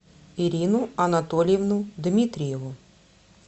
ирину анатольевну дмитриеву